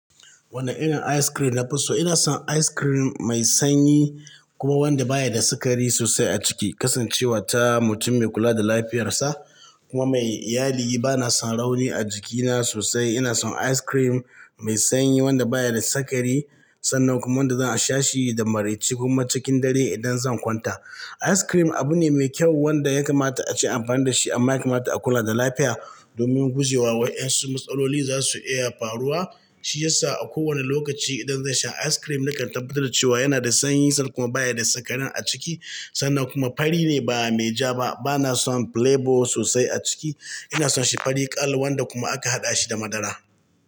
Wane irin ice cream nafi so? Ina son ice cream mai sanyi kuma wanda baya da sukari sosai a ciki. Kasancewa ta mutum mai kula da lafiyarsa kuma mai iyali, bana son rauni a jikina sosai. Ina son ice cream mai sanyi wanda baya da sukari sannan kuma wanda za a sha shi da maraici ko kuma cikin dare idan zan kwanta. Ice cream abu ne mai kyau wanda ya kamata a ce amfani da shi amma ya kamata a kula da lafiya domin guje wa wa'ansu matsaloli da zasu iya faruwa. Shi yasa a kowane lokaci idan zan sha ice cream, nakan tabbatar da cewa yana da sanyi sannan kuma baya da sukari a ciki sannan kuma fari ne ba mai ja ba. Bana son playbo sosai a ciki. Ina son shi fari ƙal, wanda kuma aka haɗa shi da madara.